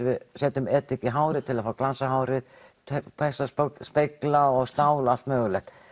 við setjum edik í hárið til að fá glans á hárið spegla og stál og allt mögulegt